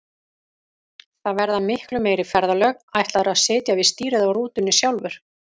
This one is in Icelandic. Það verða miklu meiri ferðalög, ætlarðu að sitja við stýrið á rútunni sjálfur?